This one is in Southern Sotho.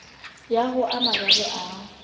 ya ho a mararo a